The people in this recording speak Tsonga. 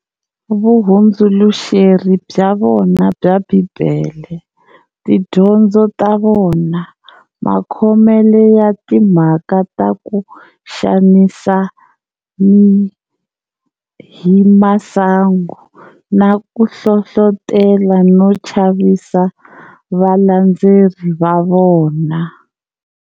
Vuhundzuluxeri bya vona bya Bhibhele, Tidyondzo ta vona, Makhomele ya timhaka taku xanisa himasangu, na kuhlohlotela no chavisa valandzeri vavona.